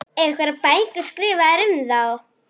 Veit ég það góði, sagði Jón Arason.